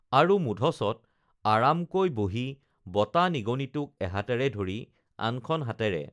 আৰু মূধচত আৰামকৈ বহি বতা নিগনিটোক এহাতেৰে ধৰি আনখন হাতেৰে